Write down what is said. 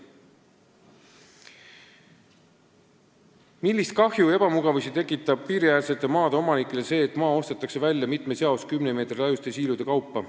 Kolmas küsimus: "Millist kahju ja ebamugavusi tekitab piiriäärsete maade omanikele see, et maa ostetakse välja mitmes jaos 10 meetri laiuste siilude kaupa?